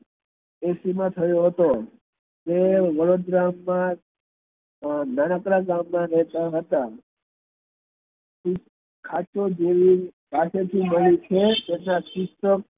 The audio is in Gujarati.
મા થયો હતો તે વડોદરા મા નાનકડા ગામ મા રેહતા હતા સાચો તેમની પાસેથી મળી છે